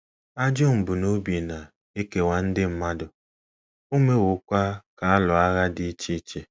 Ajọ mbunobi na - ekewa ndị mmadụ, o mewokwa ka a lụọ agha dị iche iche.